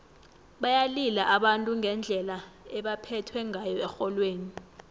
bayalila abantu ngendlela ebebaphethwe ngayo erholweni